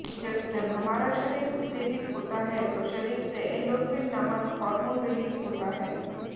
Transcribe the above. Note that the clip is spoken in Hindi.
जब हमारा शरीर उत्तेजित होता है तो शरीर से एंडॉर्फिन नामक हार्मोन रिलीज होता है